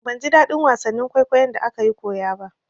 Ban ji daɗin wasannin kwaikwayon da akayi koya ba.